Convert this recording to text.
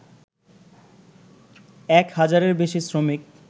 এক হাজারের বেশি শ্রমিক